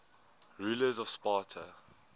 rulers of sparta